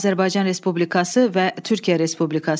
Azərbaycan Respublikası və Türkiyə Respublikası.